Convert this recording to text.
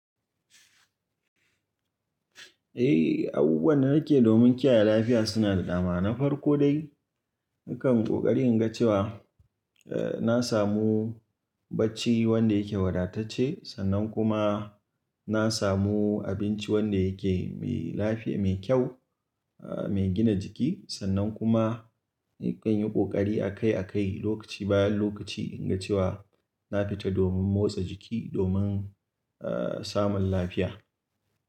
Eh, abubuwan da nake domin kiyaye lafiya suna da dama. Na farko dai, nakan ƙoƙari in ga cewa, eh, na samu bacci wanda yake wadatacce. Sannan kuma na samu abinci wanda yake mai lafiya, mai kyau, eh, mai gina jiki. Sannan kuma nakan yi ƙoƙari akai-akai, lokaci bayan lokaci in ga cewa na fita domin motsa jiki, domin, eh, samun lafiya.